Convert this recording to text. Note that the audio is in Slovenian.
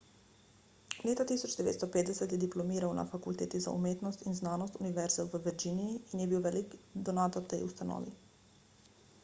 leta 1950 je diplomiral na fakulteti za umetnost in znanost univerze v virginiji in je bil velik donator tej ustanovi